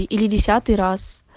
и или десятый раз